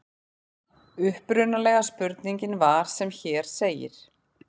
Upprunalega spurningin var sem hér segir: